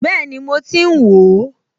Bẹ́ẹ̀ni mo ti ń wò ó